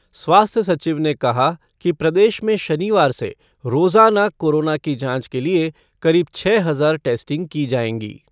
स्वास्थ्य सचिव ने कहा कि प्रदेश में शनिवार से रोजाना कोरोना की जांच के लिए करीब छः हजार टेस्टिंग की जाएँगी।